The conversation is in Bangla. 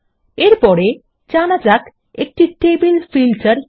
এর পরেজানা যাক একটি টেবিল ফিল্টার কি